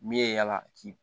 Min ye yala k'i